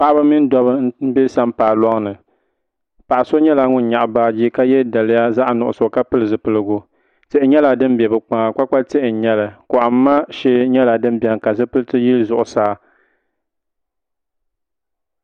Paɣaba mini dobba m be sampaa loŋni paɣa so nyɛla ŋun nyaɣi baaji ka ye daliya zaɣa nuɣuso ka pili zipiligu tihi nyɛla din be bɛ kpaŋa kpakpa tihi n nyɛli kohimma shee nyɛla din biɛni ka zipiliti yili zuɣusaa.